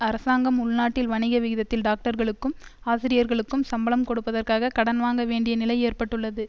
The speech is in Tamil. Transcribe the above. அரசாங்கம் உள்நாட்டில் வணிக விகிதத்தில் டாக்டர்களுக்கும் ஆசிரியர்களுக்கும் சம்பளம் கொடுப்பதற்காக கடன் வாங்க வேண்டிய நிலை ஏற்பட்டுள்ளது